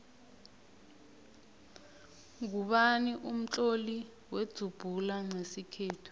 ngubani umtloli wenzubhula nqesikhethu